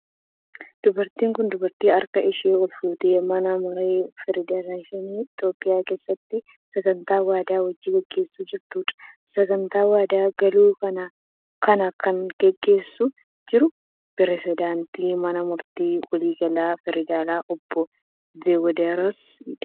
Dubartiin kun, dubartii harka ishee ol fuutee mana maree federeeshinii Itoophiyaa keessatti sagantaa waadaa hojii gaggeessaa jirtuu dha. Sagantaa waadaa galuu kana kan gaggeessaa jiru pireezidantii mana murtii waliigalaa federaalaa Obbo Tewdiroosi dha.